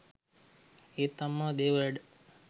ඒත් අම්මා දේව වැඩ